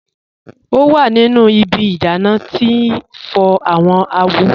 O wa nínu ìbí ìdánà tí n fọ̀ awọn àwò.